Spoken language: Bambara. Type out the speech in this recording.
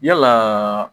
Yalaa